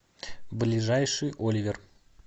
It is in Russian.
ближайший оливер